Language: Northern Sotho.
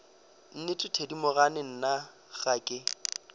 nnete thedimogane nna ga ke